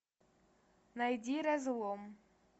найди разлом